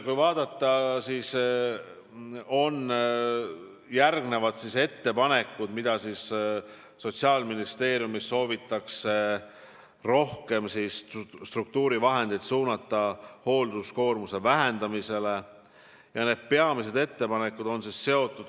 Kui vaadata järgnevaid ettepanekuid, mida Sotsiaalministeeriumis soovitakse teha, et suunata rohkem struktuurivahendeid hoolduskoormuse vähendamisele, siis need peamised ettepanekud on seotud järgnevaga.